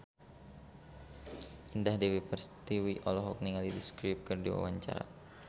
Indah Dewi Pertiwi olohok ningali The Script keur diwawancara